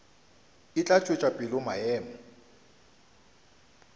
e tla tšwetša pele maemo